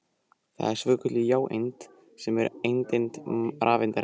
Það var svokölluð jáeind sem er andeind rafeindarinnar.